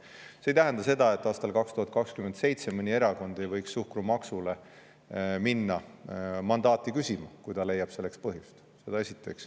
See ei tähenda seda, et aastal 2027 mõni erakond ei võiks suhkrumaksule minna mandaati küsima, kui ta leiab selleks põhjust.